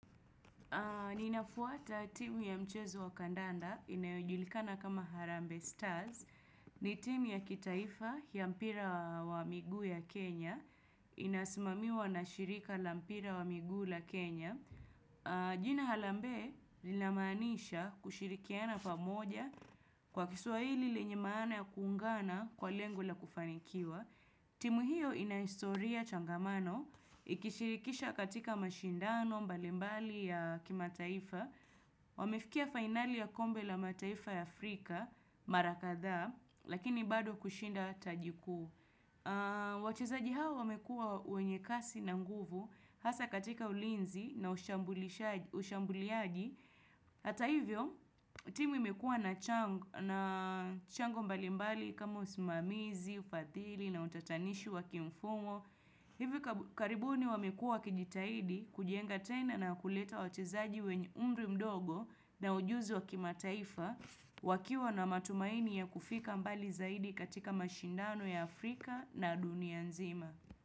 Ninafuata timu ya mchezo wa kandanda inayojulikana kama Harambe Stars. Ni timu ya kitaifa ya mpira wa miguu ya Kenya. Inasmamiwa na shirika la mpira wa miguu la Kenya. Jina Harambe linamaanisha kushirikiana pamoja kwa kiswa hili lenye maana ya kuungana kwa lengo la kufanikiwa. Timu hiyo inaistoria changamano, ikishirikisha katika mashindano mbalimbali ya kima taifa Wamefikia finali ya kombe la mataifa ya Afrika, Marakadhaa, lakini bado kushinda tajikuu wachezaji hawa wamekuwa wenye kasi na nguvu, hasa katika ulinzi na ushambuliaji Hata hivyo, timu imekua na chango mbalimbali kama usimamizi, ufadhili na utatanishi wakimfumo Hivyo karibuni wamekuwa kijitahidi kujenga tena na kuleta wachezaji wenye umri mdogo na ujuzi wakimataifa wakiwa na matumaini ya kufika mbali zaidi katika mashindano ya Afrika na dunia nzima.